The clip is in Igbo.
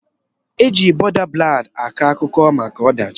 Eji bọda ballad akọ akụkọ maka ọdachi.